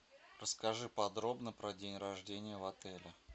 расскажи подробно про день рождения в отеле